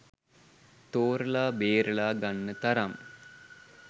තෝරලා බේරලා ගන්න තරම්